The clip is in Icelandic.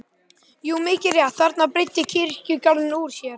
Jú, mikið rétt, þarna breiddi kirkjugarðurinn úr sér.